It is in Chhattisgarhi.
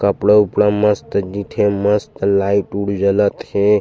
कपड़ा उपड़ा मस्त दिखे मस्त लाइट उट जलत हे।